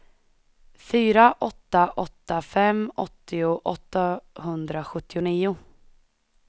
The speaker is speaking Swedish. fyra åtta åtta fem åttio åttahundrasjuttionio